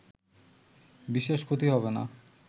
বিশেষ ক্ষতি হবে না